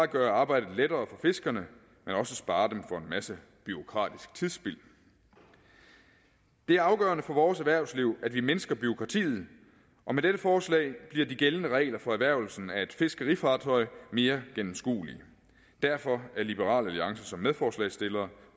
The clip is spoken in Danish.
gøre arbejdet lettere for fiskerne men også spare dem for en masse bureaukratisk tidsspild det er afgørende for vores erhvervsliv at vi mindsker bureaukratiet og med dette forslag bliver de gældende regler for erhvervelsen af et fiskerfartøj mere gennemskuelige derfor er liberal alliance som medforslagsstillere